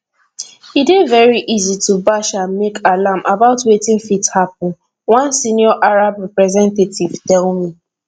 e dey very easy to bash and make alarm about wetin fit happun one senior arab representative tell me